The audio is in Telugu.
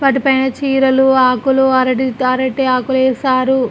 వాటి పైన చీరలు ఆకులు అరటి అరటి ఆకులు ఎసారు.